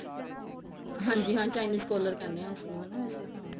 ਹਾਂਜੀ ਹਾਂ Chinese collar ਕਹਿੰਦੇ ਆ ਉਸਨੂੰ ਹਨਾ ਵੈਸੇ ਹਾਂ